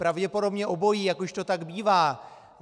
Pravděpodobně obojí, jak už to tak bývá.